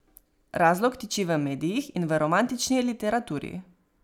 Razlog tiči v medijih in v romantični literaturi.